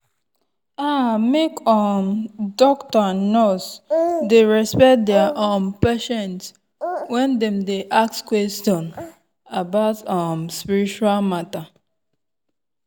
ah make um doctor and nurse dey respect their um patient when dem dey ask question about um spiritual matter.